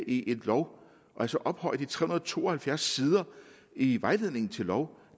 i en lov altså ophøje de tre hundrede og to og halvfjerds sider i vejledningen til lov